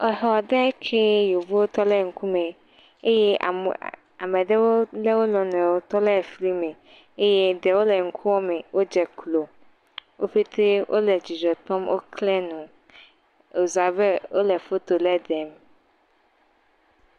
Exɔ ɖee kee. Yevu tɔ ɖe ŋkume. Eye aa, ame ɖewo lé wo nɔnɔewo tɔ lé flime. Eye ɖewo le ɖkume, wodze klo. Wo ƒetee wole dzidzɔ kpɔm. Woklẽ nu. Wòzu abe wole foto lé ɖem.